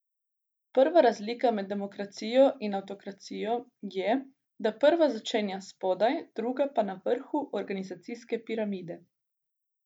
Prva razlika med demokracijo in avtokracijo je, da prva začenja spodaj, druga pa na vrhu organizacijske piramide.